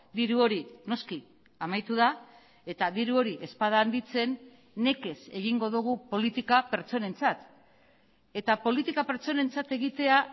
diru hori noski amaitu da eta diru hori ez bada handitzen nekez egingo dugu politika pertsonentzat eta politika pertsonentzat egitea